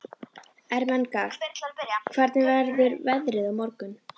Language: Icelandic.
Ermenga, hvernig verður veðrið á morgun?